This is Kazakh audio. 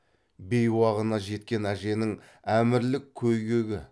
бейуағына жеткен әженің әмірлік көй гөгі